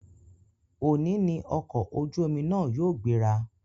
Òní ní ọ̀kọ̀ ojú omi náà yóò gbéra